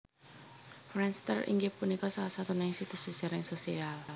Friendster inggih punika salah satunggaling situs jejaring sosial